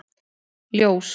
Ljós